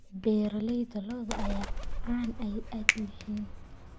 Beeralayda lo'du aad bay caan u yihiin.